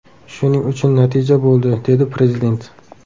Shuning uchun natija bo‘ldi”, – dedi Prezident.